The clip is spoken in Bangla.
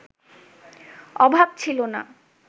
অভাব ছিল না